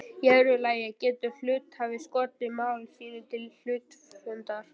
Í öðru lagi getur hluthafi skotið mál sínu til hluthafafundar.